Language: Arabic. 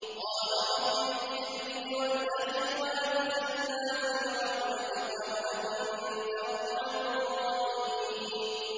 قَالَ رَبِّ اغْفِرْ لِي وَلِأَخِي وَأَدْخِلْنَا فِي رَحْمَتِكَ ۖ وَأَنتَ أَرْحَمُ الرَّاحِمِينَ